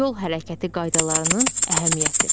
Yol hərəkəti qaydalarının əhəmiyyəti.